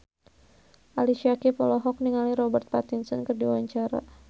Ali Syakieb olohok ningali Robert Pattinson keur diwawancara